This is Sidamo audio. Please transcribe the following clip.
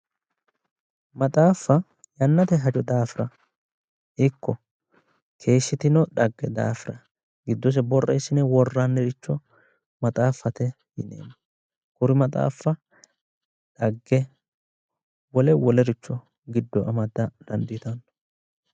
Maxaaffa yannate hajo daafira ikko keeshshitino dhagge daafira giddose borreessine worranniricho maxaaffate yinneemmo, kuri maxaaffa dhagge wole wolericho giddo amada dandiitanno.